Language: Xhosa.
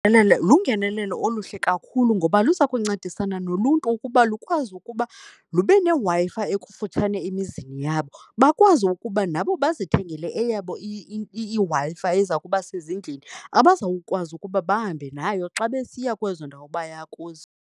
Lungenelelo oluhle kakhulu ngoba luza kuncedisana noluntu ukuba lukwazi ukuba lube neWi-Fi ekufutshane emizini yabo. Bakwazi ukuba nabo bazithengele eyabo iWi-Fi eza kuba sezindlini, abazawukwazi ukuba bahambe nayo xa besiya kwezo ndawo baya kuzo.